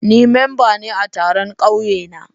Ni memba ne a taron ƙauye na.